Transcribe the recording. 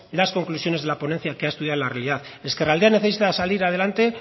las conclusiones de la ponencia que ha estudiado en la realidad ezkerraldea necesita salir adelante